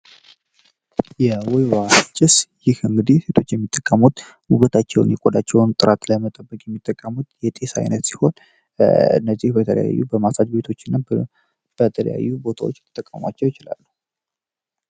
የወይዋ ጭስ ይህ እንግዲህ ሴቶች የሚጠቀሙት ውበታቸውን የቆዳቸውን ጥራት ላይመጠበቅ የሚጠቀሙት የጤስ ዓይነት ሲሆን እነዚህ በተለያዩ በማሳጅ ቤቶች እና በተለያዩ ቦታዎች ሊጠቃሟቸው ይችላሉ።